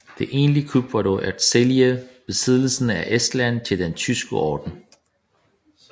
Det egentlige kup var dog at sælge besiddelsen i Estland til Den tyske Orden